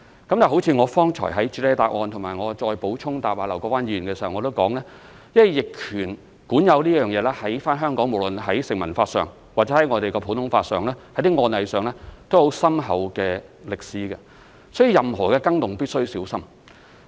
但是，正如我剛才在主體答覆及我答覆劉國勳議員的補充質詢時提到，因為香港在逆權管有方面，無論在成文法、普通法和案例方面均有很深厚的歷史，所以任何更動都必須小心。